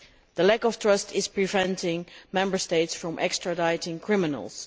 The lack of trust is preventing Member States from extraditing criminals.